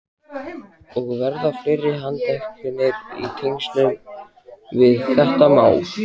Og verða fleiri handteknir í tengslum við þetta mál?